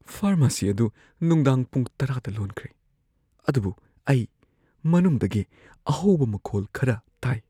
Pharmacy ꯑꯗꯨ ꯅꯨꯡꯗꯥꯡ ꯄꯨꯡ ꯇꯔꯥꯗ ꯂꯣꯟꯈ꯭ꯔꯦ, ꯑꯗꯨꯕꯨ ꯑꯩ ꯃꯅꯨꯡꯗꯒꯤ ꯑꯍꯧꯕ ꯃꯈꯣꯜ ꯈꯔ ꯇꯥꯏ꯫